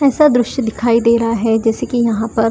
ऐसा दृश्य दिखाई दे रहा है जैसे कि यहां पर--